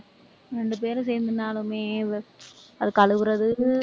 ரெண்டு பேரும் சேர்ந்திருந்தாலுமே இவ்வளவு அது கழுவுறது